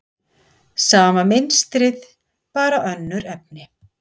Sama mynstrið, bara önnur efni.